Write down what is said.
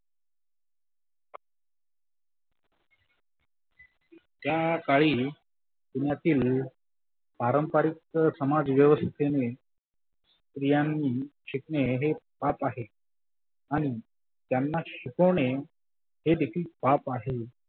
त्या काळी पुण्यातील पारंपारीक समाज व्यवस्थेने स्त्रियांनी शिकणे हे पाप आहे आणि त्यांना शिकवने हे देखील पाप आहे.